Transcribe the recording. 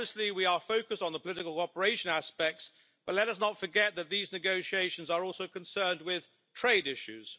We are focused on the political operation aspects but let us not forget that these negotiations are also concerned with trade issues.